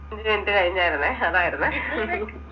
അഞ്ചു minute കഴിഞ്ഞാർന്നേ അതായിരുന്നേ